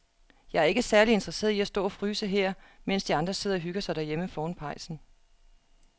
Jeg er ikke særlig interesseret i at stå og fryse her, mens de andre sidder og hygger sig derhjemme foran pejsen.